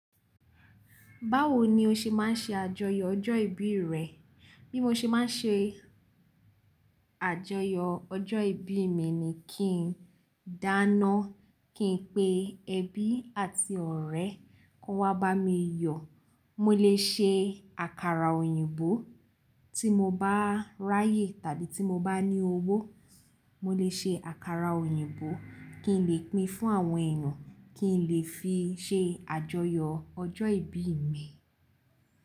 Báwo ni o ṣe máa ń ṣe àjọyọ̀ ọjọ́ ìbí rẹ? Bí mo ṣe máa ń ṣe àjọyọ̀ ọjọ́ ìbí mi ni kí n dáná, kí n pe ẹbí àti ọ̀rẹ́ kó n wá bá mi yọ̀. Mo lè ṣe àkàrà òyìnbó tí mo bá ráyè tàbí tí mo bá ní owó. Mo lè ṣe àkàrà òyìnbó kí n lè pín fún àwọn ẹeyan, kí n lè fi ṣe àjọyọ̀ ọjọ́ ìbí mi.